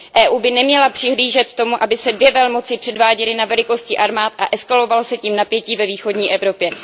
EU by neměla přihlížet tomu, aby se dvě velmoci předváděly ve velikosti armád a eskalovalo se tím napětí ve východní Evropě.